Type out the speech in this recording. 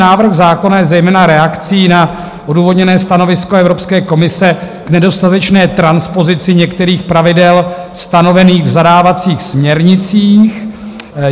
Návrh zákona je zejména reakcí na odůvodněné stanovisko Evropské komise k nedostatečné transpozici některých pravidel stanovených v zadávacích směrnicích.